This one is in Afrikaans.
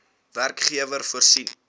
werkgewer voorsien